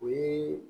O ye